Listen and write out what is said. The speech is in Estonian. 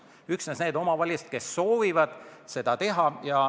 See puudutab vaid neid omavalitsusi, kes soovivad seda teha.